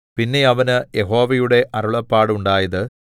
പിന്നെ അവന് യഹോവയുടെ അരുളപ്പാട് ഉണ്ടായത്